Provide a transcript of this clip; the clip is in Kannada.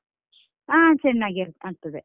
ಹ ಚೆನ್ನಾಗಿ ಆಗ್ತದೆ.